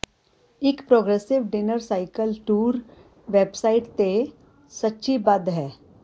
ਇੱਕ progressive dinner cycle tour website ਤੇ ਸੂਚੀਬੱਧ ਹੈ